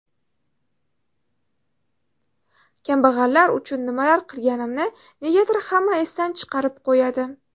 Kambag‘allar uchun nimalar qilganimni negadir hamma esdan chiqarib qo‘yadi.